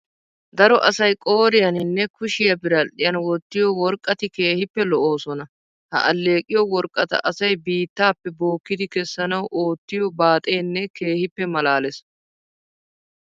Daro asay qooriyaninne kushiya biradhdhiyan wottiyo worqqati keehippe lo"oosona. Ha alleeqiyo worqqata asay biittaappe bookkidi kessanawu oottiyo baaxeenne keehippe maalaalees.